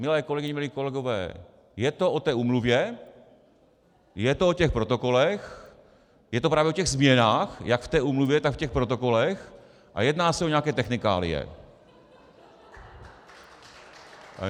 Milé kolegyně, milí kolegové, je to o té úmluvě, je to o těch protokolech, je to právě o těch změnách jak v té úmluvě, tak v těch protokolech a jedná se o nějaké technikálie.